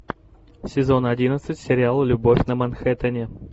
сезон одиннадцать сериала любовь на манхэттене